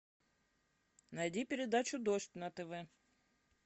найди передачу дождь на тв